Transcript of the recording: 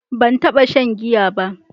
Ban taɓa shan giya ba.